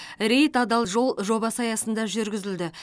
рейд адал жол жобасы аясында жүргізілді